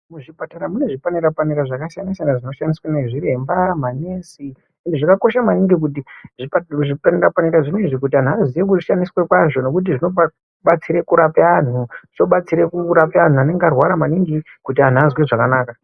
Muzvipatara mune zvipanera-panera zvakasiyana-siyana zvinoshandiswa nezviremba, manesi. Izvi zvakakosha maningi kuti zvipanera -panera zvinezvi kuti anhu aziye kushandiswa kwazvo nekuti zvinobatsira kurape anhu. Zvobatsire kurape anhu anenge arwara maningi kuti anhu azwe zvakanaka.